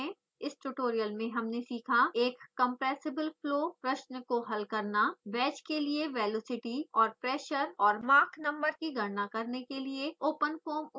इस ट्यूटोरियल में हमने सीखा: * एक कम्प्रेसिबल फ्लो प्रश्न को हल करना